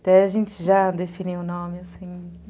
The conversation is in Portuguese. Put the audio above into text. Até a gente já definir o nome, assim, né?